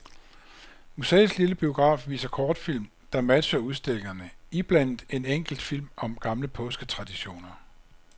Museets lille biograf viser kortfilm, der matcher udstillingerne, iblandet en enkelt film om gamle påsketraditioner.